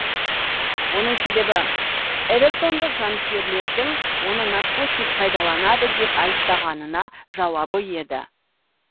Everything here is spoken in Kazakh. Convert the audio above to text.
оның себебі эвертондық жанкүйерлердің оны наркотик пайдаланады деп айыптағанына жауабы еді